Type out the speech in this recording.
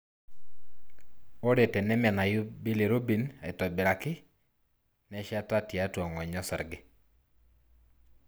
Ore tenemenayu bilirubin aitobiraki, nesheta tiatua ngonyo osarge.